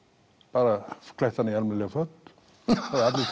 bara klætt hann í almennileg föt það hefðu allir